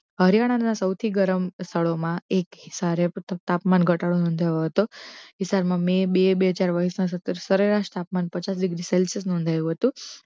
હરીયાણા ના સોથી ગરમ સ્થળો મા એક સોર્ય તાપમાન નો ઘટાડો નોધાયો હતો મે બે બે ચાર હજાર વષૅ મા તાપમાન પચાસ ડિગ્રી સેલ્શીયસ નોધાયો હતો